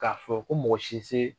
K'a fɔ ko mɔgɔ si tɛ se?